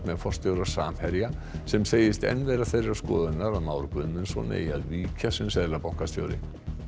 með forstjóra Samherja sem segist enn vera þeirrar skoðunar að Már Guðmundsson eigi að víkja sem seðlabankastjóri